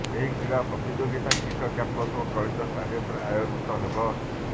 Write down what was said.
ଏହି କ୍ରୀଡା ପ୍ରତିଯୋଗିତା କୀଟ କ୍ୟାମ୍ପସ ଓ କଳିଙ୍ଗ ଷ୍ଟାଡିଅମରେ ଆୟୋଜିତ ହେବ